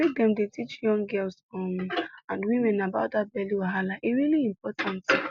make dem dey teach young girls um and women about that belly wahala e really important